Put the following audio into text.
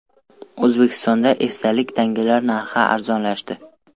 O‘zbekistonda esdalik tangalar narxi arzonlashdi.